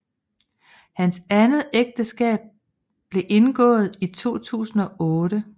Hans andet ægteskab blev indgået i 2008